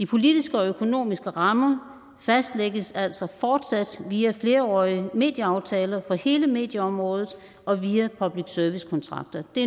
politiske og økonomiske rammer fastlægges altså fortsat via flerårige medieaftaler for hele medieområdet og via public service kontrakter det